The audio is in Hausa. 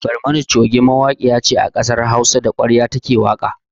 Barmani coge mawaƙiya ce a kasar Hausa, da ƙwarya ta ke waƙa.